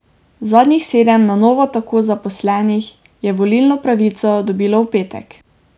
Zadnjih sedem na novo tako zaposlenih je volilno pravico dobilo v petek.